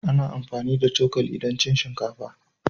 Ana amfani da cokali don cin shinkafa.